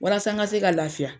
Walasa n ka se ka lafiya.